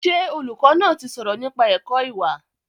Ṣé olùkọ́ náà ti sọ̀rọ̀ nípa ẹ̀kọ́ ìwà?